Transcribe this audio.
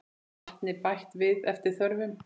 Vatni bætt við eftir þörfum.